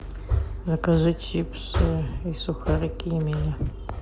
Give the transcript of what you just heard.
закажи чипсы и сухарики емеля